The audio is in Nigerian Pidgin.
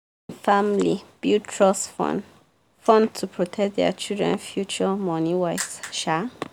family build trust fund fund to protect their children future money-wise um